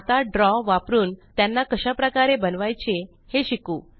आता द्रव वापरून त्यांना कशाप्रकारे बनवायचे हे शिकू